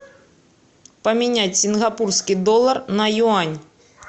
поменять сингапурский доллар на юань